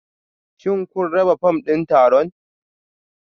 Shin kun raba fom ɗin taron?